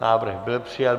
Návrh byl přijat.